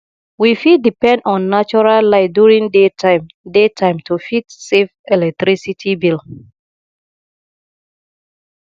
we fit depend on natural light during day time day time to fit save electricity bill